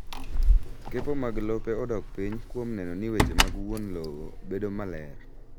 Kepo mag lope odok piny kuom neno ni weche mag wuon lowo bedo maler